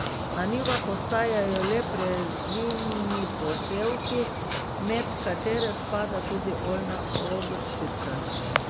Na njivah ostajajo le prezimni posevki, med katere spada tudi oljna ogrščica.